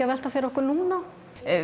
að velta fyrir okkur núna